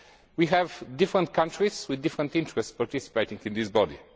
We have different countries with different interests participating in this body.